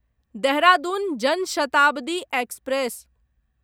Dehradun Jan Shatabdi express